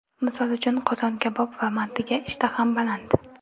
Misol uchun qozon-kabob va mantiga ishtaham baland.